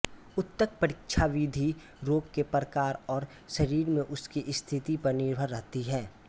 ऊतकपरीक्षाविधि रोग के प्रकार और शरीर में उसकी स्थिति पर निर्भर रहती है